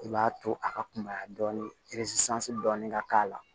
I b'a to a ka kunbaya dɔɔnin dɔɔnin ka k'a la